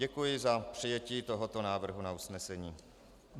Děkuji za přijetí tohoto návrhu na usnesení.